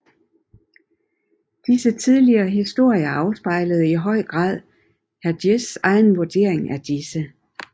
Disse tidlige historier afspejlede i høj grad Hergés egen vurdering af disse